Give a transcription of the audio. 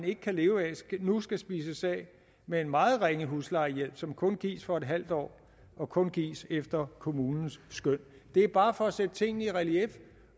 ikke kan leve af nu skal spises af med en meget ringe huslejehjælp som kun gives for en halv år og kun gives efter kommunens skøn det er bare for at sætte tingene i relief